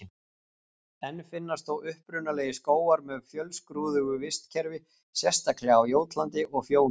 Enn finnast þó upprunalegir skógar með fjölskrúðugu vistkerfi, sérstaklega á Jótlandi og Fjóni.